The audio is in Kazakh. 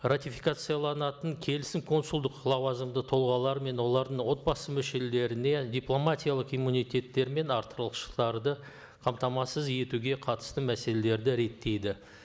ратификацияланатын келісім консулдық лауазымды тұлғалар мен олардың отбасы мүшелеріне дипломатиялық иммунитеттері мен артықшылықтарды қамтамасыз етуге қатысты мәселелерді реттейді